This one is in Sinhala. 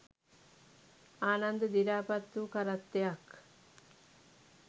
ආනන්ද දිරාපත් වූ කරත්තයක්